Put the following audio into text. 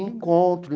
Encontro.